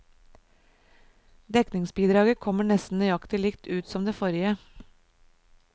Dekningsbidraget kommer nesten nøyaktig likt ut som det forrige.